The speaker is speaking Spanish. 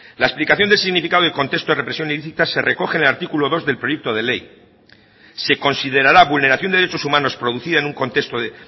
la explicación del significado del contexto de represión ilícita se recoge en el artículo dos del proyecto de ley se considerará vulneración de derechos humanos producida en un contexto de